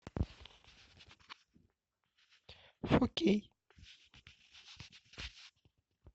фо кей